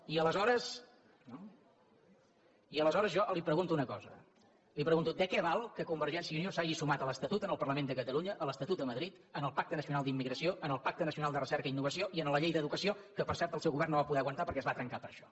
i aleshores jo li pregunto una cosa li pregunto de què val que convergència i unió s’hagi sumat a l’estatut en el parlament de catalunya a l’estatut a madrid al pacte nacional per a la immigració al pacte nacional per a la recerca i la innovació i a la llei d’educació que per cert el seu govern no va poder aguantar perquè es va trencar per això